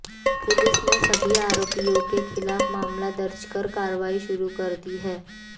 police ने सभी आरोपियों के खिलाफ मामला दर्ज कर कार्रवाई शुरू कर दी है